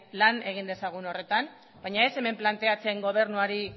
lan egin dezagun horretan baina ez hemen planteatzen gobernuari